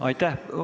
Aitäh!